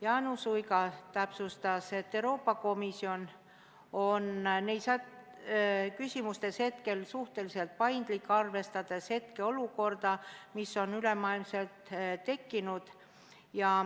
Jaanus Uiga täpsustas, et Euroopa Komisjon on nendes küsimustes suhteliselt paindlik, arvestades olukorda, mis on üle maailma tekkinud.